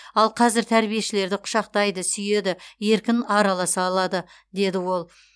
ал қазір тәрбиешілерді құшақтайды сүйеді еркін араласа алады деді ол